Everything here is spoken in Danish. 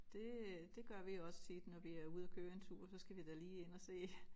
Det øh det gør vi også tit når vi er ude og køre en tur så skal vi da lige ind og se